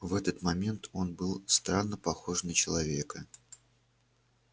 в этот момент он был странно похож на человека